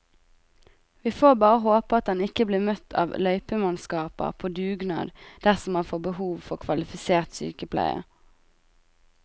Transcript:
Vi får bare håpe at han ikke blir møtt av løypemannskaper på dugnad dersom han får behov for kvalifisert sykepleie.